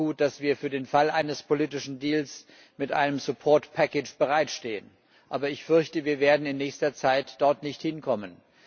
Es ist auch gut, dass wir für den Fall eines politischen Deals mit einem bereitstehen. Aber ich fürchte, wir werden in nächster Zeit dort nicht hinkommen.